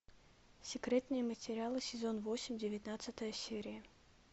секретные материалы сезон восемь девятнадцатая серия